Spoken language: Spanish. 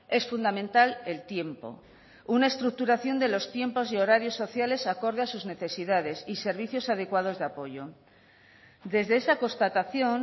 es fundamental el tiempo una estructuración de los tiempos de horarios sociales acorde a sus necesidades y servicios adecuados de apoyo desde esa constatación